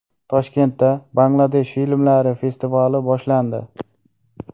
Toshkentda Bangladesh filmlari festivali boshlandi.